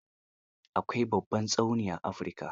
Akwai babban tsauni a Afirika.